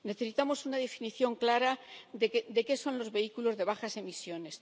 Necesitamos una definición clara de qué son los vehículos de bajas emisiones.